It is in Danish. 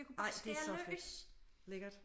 Ej det er så fedt lækkert